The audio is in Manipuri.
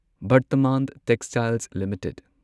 Vardhman textiles limited